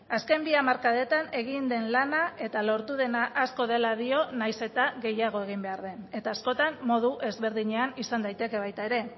azken bi hamarkadetan egin den lana eta lortu dena asko dela dio nahiz eta gehiago egin behar den eta askotan modu ezberdinean izan daiteke baita ere